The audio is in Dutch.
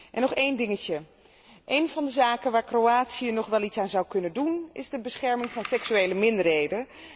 En nog één dingetje één van de zaken waar Kroatië nog wel iets aan zou kunnen doen is de bescherming van seksuele minderheden.